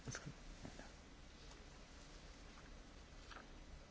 Chcel by som sa poďakovať všetkým, ktorí vystúpili so svojím názorom.